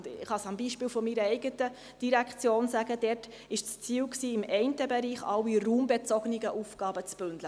Ich kann es am Beispiel meiner eigenen Direktion sagen: Dort war es im einen Bereich das Ziel, alle raumbezogenen Aufgaben zu bündeln: